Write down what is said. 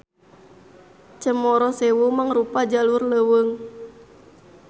Cemoro Sewu mangrupa jalur leuweung.